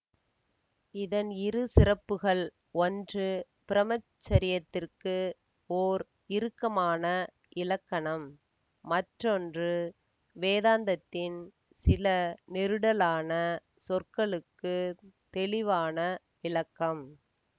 இதன் இரு சிறப்புகள் ஒன்று பிரம்மச்சரியத்திற்கு ஓர் இறுக்கமான இலக்கணம் மற்றொன்று வேதாந்தத்தின் சில நெருடலான சொற்களுக்குத் தெளிவான விளக்கம்